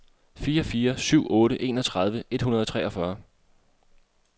fire fire syv otte enogtredive et hundrede og treogfyrre